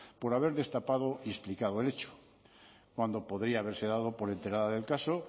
por haber destapado y explicado el hecho cuando podría haberse dado por enterada del caso